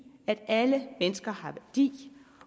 at alle mennesker har værdi